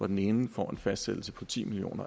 den ene får en fastsættelse på ti million